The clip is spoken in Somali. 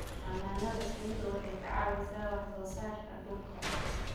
Xannaanada shinnidu waxay ka caawisaa wax soo saarka dhuka.